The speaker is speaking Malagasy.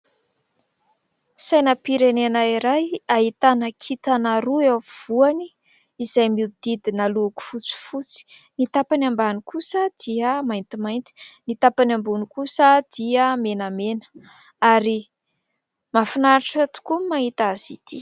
Sainam-pirenena iray : ahitana kintana roa eo afovoany izay mihodidina loko fotsifosy. Ny tapany ambany kosa dia maintimainty ; ny tapany ambony kosa dia menamena, ary mahafinaritra tokoa ny mahita azy itỳ.